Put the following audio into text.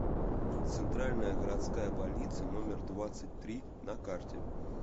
центральная городская больница номер двадцать три на карте